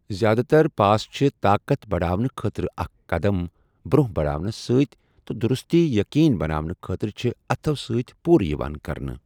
زیادٕ تر پاس چھِ طاقت بڑھاونہٕ خٲطرٕ اکھ قدم برونٛہہ بڑاونَس سۭتۍ تہٕ دُرُستی یقینی بناونہٕ خٲطرٕ چھِ اتھو سۭتۍ پوٗرٕ یِوان کرنہٕ۔